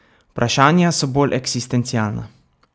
Vprašanja so bolj eksistencialna.